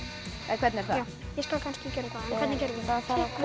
hvernig er það ég skal kannski gera það